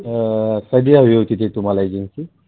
कधी हवी होती ती तुम्हाला agency?